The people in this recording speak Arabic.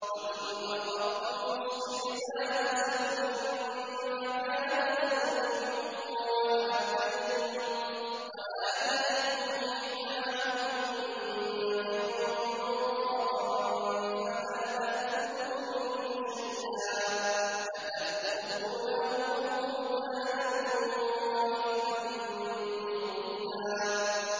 وَإِنْ أَرَدتُّمُ اسْتِبْدَالَ زَوْجٍ مَّكَانَ زَوْجٍ وَآتَيْتُمْ إِحْدَاهُنَّ قِنطَارًا فَلَا تَأْخُذُوا مِنْهُ شَيْئًا ۚ أَتَأْخُذُونَهُ بُهْتَانًا وَإِثْمًا مُّبِينًا